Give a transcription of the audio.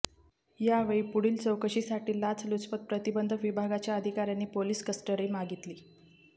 यावेळी पुढील चौकशीसाठी लाचलुचपत प्रतिबंधक विभागाच्या अधिकाऱ्यांनी पोलीस कस्टडी मागितली